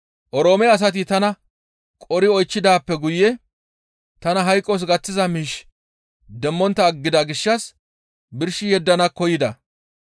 Oroome asati tana qori oychchidaappe guye tana hayqos gaththiza miish demmontta aggida gishshas birshi yeddana koyida.